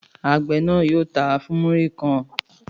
Àgbẹ̀ náà yóò tà á fún múrí kan.